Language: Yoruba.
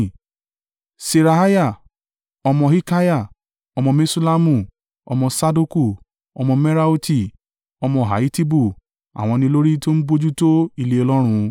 Seraiah ọmọ Hilkiah, ọmọ Meṣullamu, ọmọ Sadoku, ọmọ Meraioti, ọmọ Ahitubu, àwọn ni olórí tó ń bojútó ilé Ọlọ́run,